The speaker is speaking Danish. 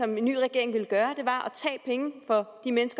ny regering vil gøre er